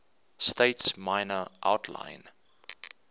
states minor outlying